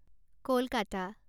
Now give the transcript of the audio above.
Kolkata